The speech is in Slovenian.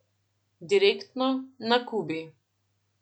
Direktno, na Kubi.